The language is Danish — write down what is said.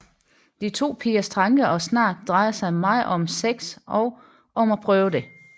De to pigers tanker og snak drejer sig meget om sex og om at prøve det